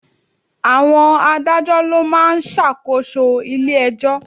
Àwọn Adájọ́ ló ma ń ṣàkóso ilé ẹjọ́.